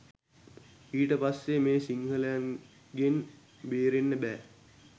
ඊට පස්සේ මේ සිංහලයින්ගෙන් බේරෙන්න බෑ